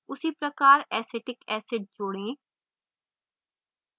उसी प्रकार acetic acid जोड़ें